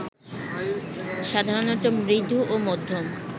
সাধারণত মৃদু ও মধ্যম